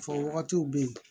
Fɔ wagatiw be yen